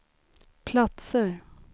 platser